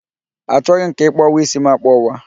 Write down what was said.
Achoghị m ka ị kpọwa ísí m akpọwa